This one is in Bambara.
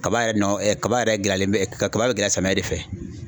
Kaba yɛrɛ nɔ, kaba yɛrɛ gɛlɛyalen bɛ. Kaba bɛ gɛlɛya samiɲɛ de fɛ.